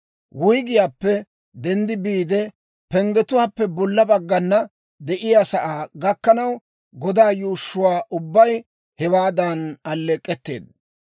Wuyggiyaappe denddi biide, penggetuwaappe bolla baggan de'iyaa sa'aa gakkanaw, godaa yuushshuwaa ubbay hewaadan alleek'k'etteedda.